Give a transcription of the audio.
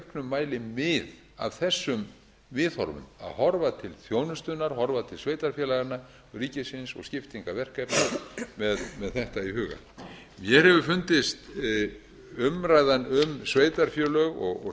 mæli mið af þessum viðhorfum að horfa til þjónustunnar horfa til sveitarfélaganna ríkisins og skiptingar verkefna með þetta í huga mér hefur fundist umræðan um sveitarfélög og